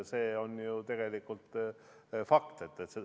See on ju tegelikult fakt.